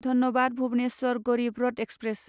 Dhanbad Bhubaneswar Garib Rath express